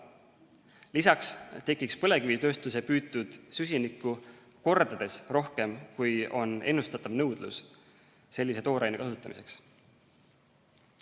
Lisaks tekiks põlevkivitööstuse püütud süsinikku kordades rohkem, kui on ennustatav nõudlus sellise tooraine kasutamiseks.